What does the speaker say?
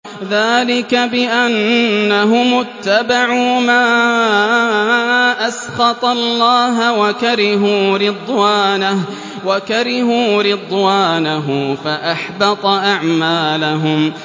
ذَٰلِكَ بِأَنَّهُمُ اتَّبَعُوا مَا أَسْخَطَ اللَّهَ وَكَرِهُوا رِضْوَانَهُ فَأَحْبَطَ أَعْمَالَهُمْ